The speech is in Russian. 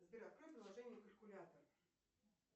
сбер открой приложение калькулятор